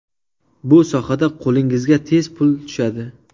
Bu sohada qo‘lingizga tez pul tushadi.